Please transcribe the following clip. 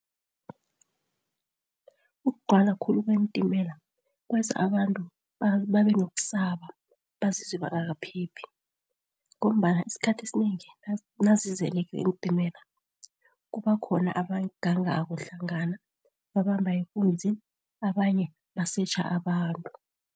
Ukugcwala khulu kweentimela kwenza abantu babenokusaba bazizwe bangakaphephi ngombana isikhathi esinengi nazizeleko iintimela kubakhona abagangako hlangana, babamba ikunzi, abanye basetjha abantu.